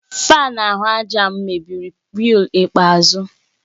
Fáan ahụ àjà m mebiri weel ikpeazụ